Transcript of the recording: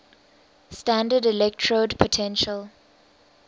standard electrode potential